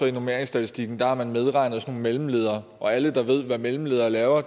i normeringsstatistikken medregnet sådan nogle mellemledere og alle der ved hvad mellemledere laver